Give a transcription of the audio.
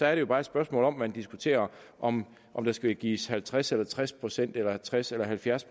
er det jo bare et spørgsmål om at man diskuterer om om der skal gives halvtreds eller tres procent eller tres eller halvfjerds